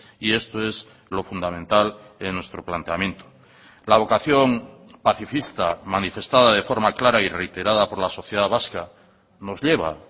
y esto es lo fundamental en nuestro planteamiento la vocación pacifista manifestada de forma clara y reiterada por la sociedad vasca nos lleva